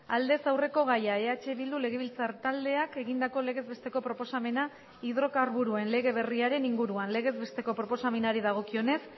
aldez aurreko gaia eh bildu legebiltzar taldeak egindako legez besteko proposamena hidrokarburoen lege berriaren inguruan legez besteko proposamenari dagokionez